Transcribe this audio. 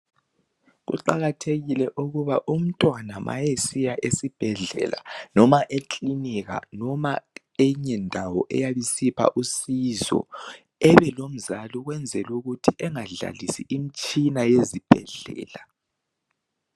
Kuqakathekile ukuba umntwana ma esiya esibhedlela noma ekilinika noma eyinye ndawo eyabe isipha usizo ebe lomzali ukwenzela ukuthi engadlalisi imitshina yezibhedlela.